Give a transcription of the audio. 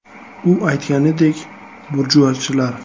“U aytganidek, burjuachilar.